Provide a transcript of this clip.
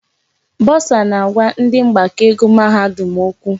Bọsa na-agwa ndị mgbakọ ego mahadum okwu.